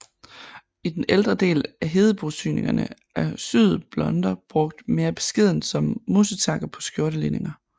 I den ældre del af hedebosyningerne er syede blonder brugt mere beskedent som musetakker på skjortelinninger